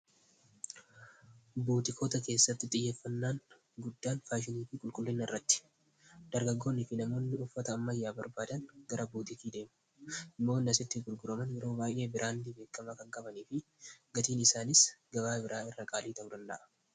buutikoota keessatti xiyyeeffannaan guddaan faashiiniitii qulqullia irratti dargagoon fi namoonni uffata ammayyaa barbaadan gara buutitii deemu immoon nasitti gurguraman biroo baayee biraani beekama kangabanii fi gatiin isaanis gabaa biraa irra qaalii ta'uu dandha'a